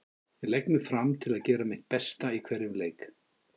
Ég legg mig fram til að gera mitt besta í hverjum leik.